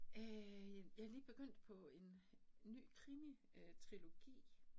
Øh jeg jeg lige begyndt på en ny krimitrilogi